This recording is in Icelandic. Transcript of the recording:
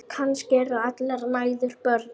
Kannski eru allar mæður börn.